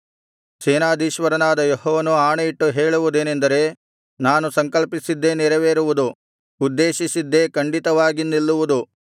ಸೇನಾಧೀಶ್ವರನಾದ ಯೆಹೋವನು ಆಣೆಯಿಟ್ಟು ಹೇಳುವುದೇನೆಂದರೆ ನಾನು ಸಂಕಲ್ಪಿಸಿದ್ದೇ ನೆರವೇರುವುದು ಉದ್ದೇಶಿಸಿದ್ದೇ ಖಂಡಿತವಾಗಿ ನಿಲ್ಲುವುದು